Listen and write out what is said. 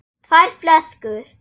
tvær flöskur?